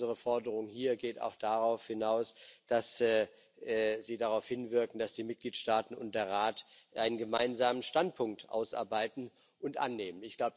Unsere Forderung hier geht auch darauf hinaus, dass sie darauf hinwirken, dass die Mitgliedstaaten und der Rat einen gemeinsamen Standpunkt ausarbeiten und annehmen.